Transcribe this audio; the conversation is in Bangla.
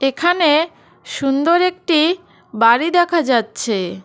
এখানে সুন্দর একটি বাড়ি দেখা যাচ্ছে।